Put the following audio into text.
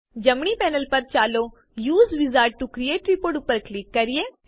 જમણી પેનલ પર ચાલો use wizard to create report ઉપર ક્લિક કરીએ